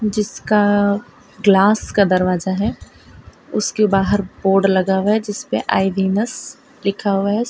जिसका ग्लास का दरवाजा है उसके बाहर बोर्ड लगा हुआ है जिस पे आई विनस लिखा हुआ है सा --